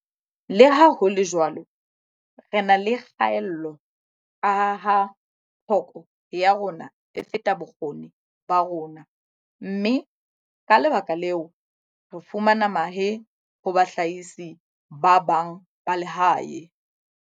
Leha ho le jwalo, re na le kgaello kaha tlhoko ya rona e feta bokgoni ba rona mme, ka lebaka leo, re fumana mahe ho bahlahisi ba bang ba lehae.